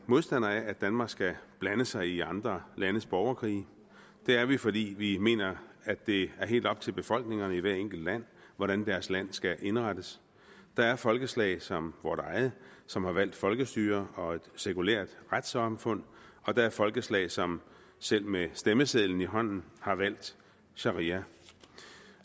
modstandere af at danmark skal blande sig i andre landes borgerkrige det er vi fordi vi mener at det er helt op til befolkningerne i hvert enkelt land hvordan deres land skal indrettes der er folkeslag som vort eget som har valgt folkestyre og et sekulært retssamfund og der er folkeslag som selv med stemmesedlen i hånden har valgt sharia